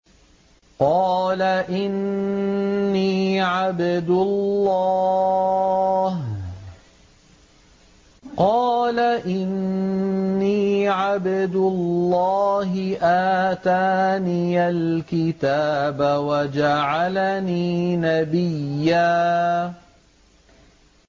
قَالَ إِنِّي عَبْدُ اللَّهِ آتَانِيَ الْكِتَابَ وَجَعَلَنِي نَبِيًّا